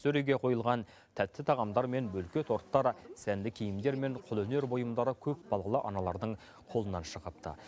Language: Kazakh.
сөреге қойылған тәтті тағамдар мен бөлке торттар сәнді киімдер мен қолөнер бұйымдары көпбалалы аналардың қолынан шығыпты